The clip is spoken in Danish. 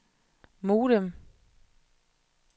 modem